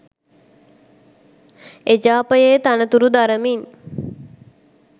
එජාපයේ තනතුරු දරමින්